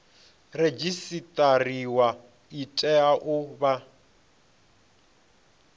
redzisiṱariwa i tea u vha